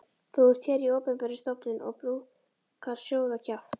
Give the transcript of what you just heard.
Þú ert hér í opinberri stofnun og brúkar sóðakjaft.